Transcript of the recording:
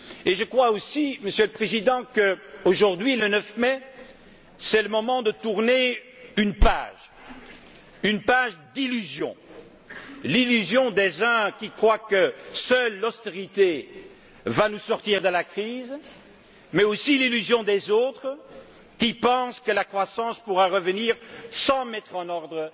Je crois aussi, Monsieur le Président, que c'est aujourd'hui le moment, en ce 9 mai, de tourner une page, une page d'illusion. L'illusion des uns qui croient que seule l'austérité va nous sortir de la crise, mais aussi l'illusion des autres qui pensent que la croissance pourra revenir sans mettre en